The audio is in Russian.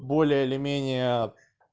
более или менее